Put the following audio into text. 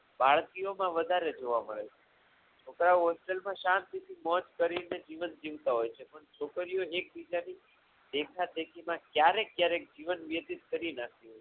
બાળકીઓમાં વધારે જોવા મળે છે છોકરાઓ hostel માં શાંતિથી મોજ કરીને જીવન જીવતા હોય છે પરંતુ છોકરીઓ એકબીજાથી દેખાદેખીમાં ક્યારેક જીવન વ્યક્તિત કરી નાખતી હોય છે.